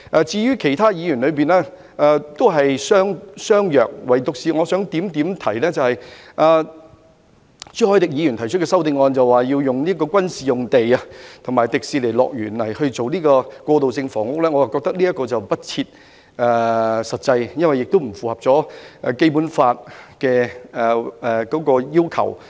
至於其他議員的修正案，內容都是相若的，唯獨我想指出，朱凱廸議員提出的修正案建議使用軍事用地及迪士尼樂園來興建過渡性房屋，我覺得這是不切實際，亦不符合《基本法》的要求。